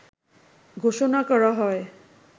ঘোষণা করা হয়